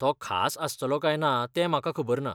तो खास आसतलो काय ना तें म्हाका खबर ना.